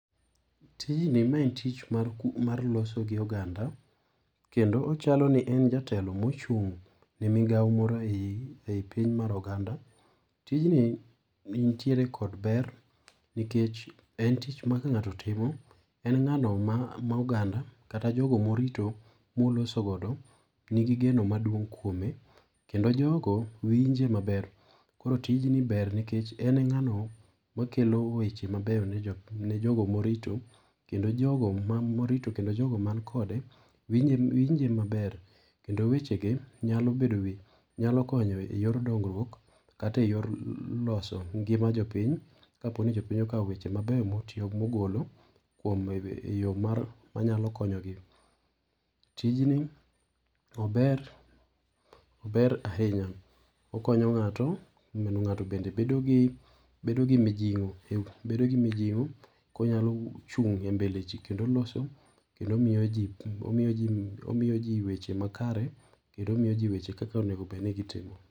Ti jni mae en tich mar loso gi oganda. Kendo ochalo ni en jatelo mochung' ne migao moro eyi eyi piny mar oganda. Tij ni nitiere kod ber, nikech en tich ma ka ng'ato timo, en ng'ano ma oganda kata jogo morito moloso godo ni gi geno maduong' kuome. Kendo jogo winje maber. Koro tij ni ber nikech en ng'ano makelo weche ,mabeyo ne jogo morito. Kendo jogo ma morito kendo jogo man kode winje winje maber. Kendo wechege nyalo bedo be nyalo konyo e yor dongruok, kata eyor loso ngima jopiny kaponi jopiny okawo weche mabeyo motiyo mogolo kuom eyor mar ma nyalo konyo gi. Tijni ober, ober ahinya okonyo ng'ato mondo ng'ato bende bedo gi bedo gi mijingo bedo gi mijing'o konyalo chung' embeleji kendo loso. kendo omiyo ji omiyo ji weche makare kendo omiyo ji weche kaka onego bed ni gi timo.